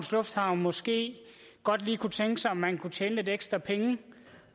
lufthavn måske godt lige kunne tænke sig om man kunne tjene lidt ekstra penge